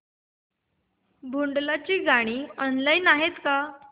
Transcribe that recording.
भोंडला ची गाणी ऑनलाइन आहेत का